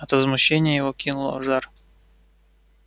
от возмущения его кинуло в жар